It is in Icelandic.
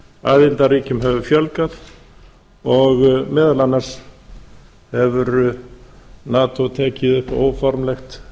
aðildarríkjum hefur fjölgað og meðal annars hefur nato tekið upp óformlegt